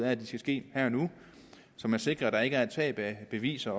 at de skal ske her og nu så man sikrer at der ikke er et tab af beviser